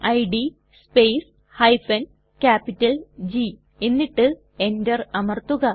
id space G എന്നിട്ട് Enter അമർത്തുക